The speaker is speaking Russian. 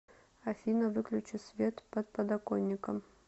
афина выключи свет под подоконником